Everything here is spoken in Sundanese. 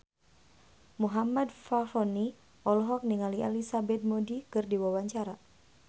Muhammad Fachroni olohok ningali Elizabeth Moody keur diwawancara